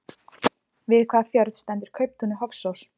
Við hvaða fjörð stendur kauptúnið Hofsós?